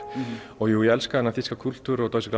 og jú ég elska þennan þýska kúltúr og Deutsche